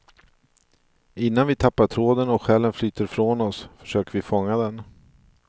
Innan vi tappar tråden och själen flyter från oss försöker vi fånga den.